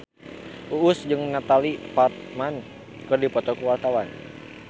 Uus jeung Natalie Portman keur dipoto ku wartawan